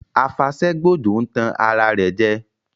A fàṣẹ gbòjò ń tàn ara rẹ jẹ